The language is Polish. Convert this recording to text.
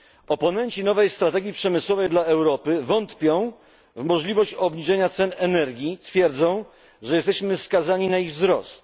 Oponenci nowej strategii przemysłowej dla Europy wątpią w możliwość obniżenia cen energii, twierdzą, że jesteśmy skazani na ich wzrost.